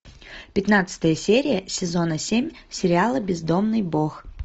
пятнадцатая серия сезона семь сериала бездомный бог